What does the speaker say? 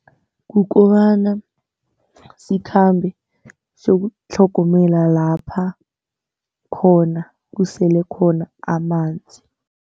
Kukobana sikhambe sokutlhogomela lapha khona kusele khona amanzi.